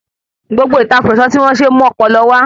Gbogbo ìtàkurọ̀sọ tí wón ṣe o mọ́pọlọ wá